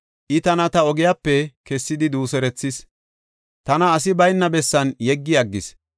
I, tana ta ogiyape kessidi duuserethis; tana asi bayna bessan yeggi aggis.